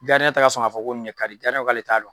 tɛ ka sɔn ka fɔ ko nin ne ka di ko k'ale t'a dɔn.